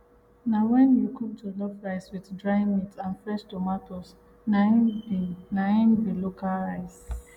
na wen you cook jollof rice with dry meat and fresh tomatoes na im be na im be local rice